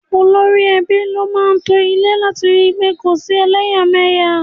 Olórí ẹbí ló máa ń to ilé láti ri pé kò sí eleyameya.